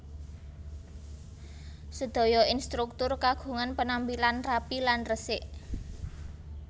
Sedaya instruktur kagungan penampilan rapi lan resik